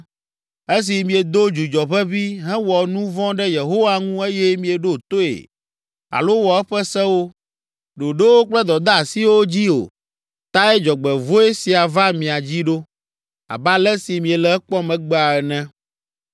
Esi miedo dzudzɔ ʋeʋĩ, hewɔ nu vɔ̃ ɖe Yehowa ŋu eye mieɖo toe alo wɔ eƒe sewo, ɖoɖowo kple dɔdeasiwo dzi o tae dzɔgbevɔ̃e sia va mia dzi ɖo, abe ale si miele ekpɔm egbea ene.”